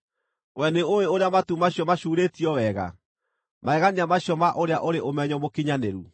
Wee nĩũũĩ ũrĩa matu macio macuurĩtio wega, magegania macio ma ũrĩa ũrĩ ũmenyo mũkinyanĩru?